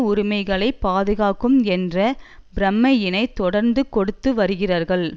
உரிமைகளை பாதுகாக்கும் என்ற பிரமையினை தொடர்ந்து கொடுத்து வருகிறார்கள்